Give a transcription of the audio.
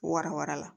Warawala